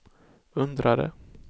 undrade